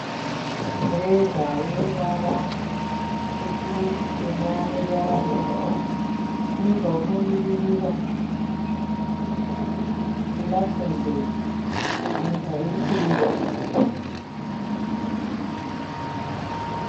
Mureza une ruvara rutsvuku, ruchena neruvara rwebhuruu. Une zvaunomiririra kuLuxemburg nyika iri kuEurope.